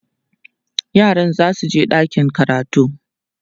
yaran zasu je ɗakin karatu